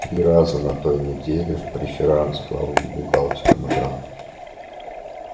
три раза на той неделе в преферанс с главным бухгалтером играл